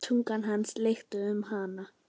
Tunga hans lykst um hana.